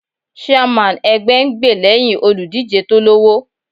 Chairman ẹgbẹ́ ń gbè lẹ́hìn olùdíje tó lọ́wọ́.